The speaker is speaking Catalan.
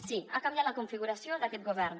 sí ha canviat la configuració d’aquest govern